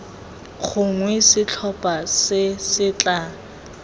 gongwe setlhopha se se tla